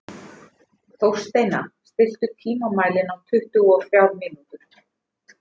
Þórsteina, stilltu tímamælinn á tuttugu og þrjár mínútur.